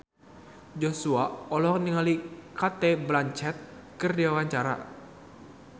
Joshua olohok ningali Cate Blanchett keur diwawancara